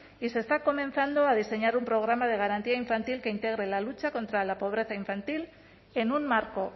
y se está comenzando a diseñar un programa de garantía infantil que integre la lucha contra la pobreza infantil en un marco